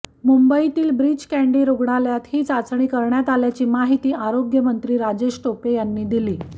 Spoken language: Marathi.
मुंबईतील ब्रीच कँडी रुग्णालयात ही चाचणी करण्यात आल्याची माहिती आरोग्यमंत्री राजेश टोपे यांनी दिली